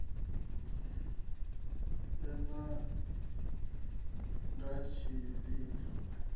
sa anekidzha b tshiedziso a